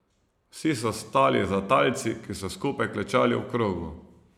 Vsi so stali za talci, ki so skupaj klečali v krogu.